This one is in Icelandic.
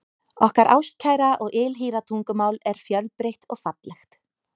Okkar ástkæra og ylhýra tungumál er fjölbreytt og fallegt.